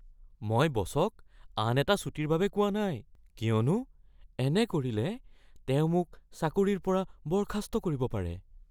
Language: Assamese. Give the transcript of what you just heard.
মই বচক আন এটা ছুটীৰ বাবে কোৱা নাই। কিয়নো এনে কৰিলে তেওঁ মোক চাকৰিৰ পৰা বৰ্খাস্ত কৰিব পাৰে।